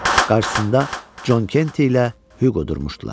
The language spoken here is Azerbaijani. Qarşısında Con Kenti ilə Huqo durmuşdular.